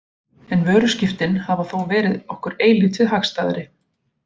En vöruskiptin hafa þó verið okkur eilítið hagstæðari.